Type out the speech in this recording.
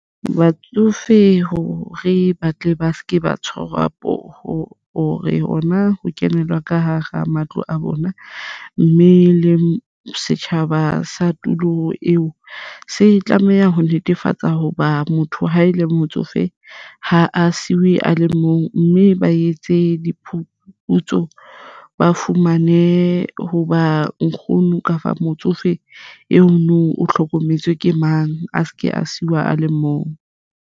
Batsofe hore ba tle ba se ke ba tshwarwa poho hore hona ho kenelwa ka hara matlo a bona, mme le setjhaba sa tulo eo se tlameha ho netefatsa hoba motho ha e le motsofe. Ha a siuwe a le mong mme ba etse diphuputso, ba fumane hoba nkgono kafa motsofe eo no o hlokometswe ke mang a se ke a seiwa a le mong?